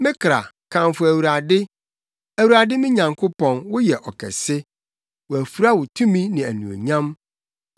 Me kra, kamfo Awurade! Awurade me Nyankopɔn, woyɛ ɔkɛse! Wɔafura wo tumi ne anuonyam.